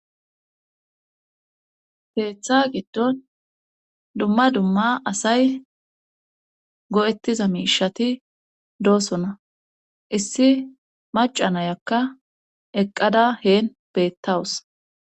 Keeththa giddo dumma dumma asay go7ettiza miishati doosona issi maca nayakka eqqada heen bettawus